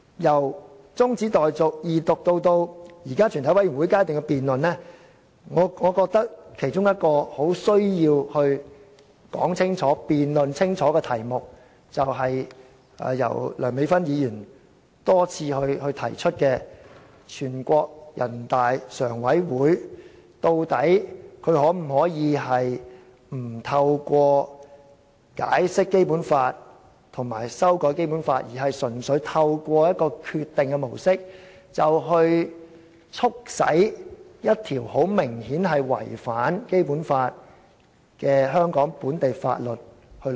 由中止待續議案、二讀至現時的全委會審議階段的辯論，我認為其中一個很需要清楚說明的題目，是由梁美芬議員多次提出的，全國人民代表大會常務委員會究竟可否不透過解釋或修改《基本法》，純粹透過決定這模式，便可促使落實一項明顯違反《基本法》的香港本地法例？